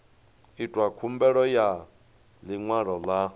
itwa khumbelo ya ḽiṅwalo ḽa